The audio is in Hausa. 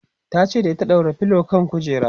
tace da ita"ɗaura filo kan kujera!"